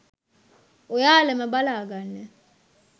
ඔයාලම බලා ගන්න.